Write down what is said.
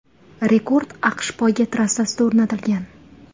Rekord AQSh poyga trassasida o‘rnatilgan.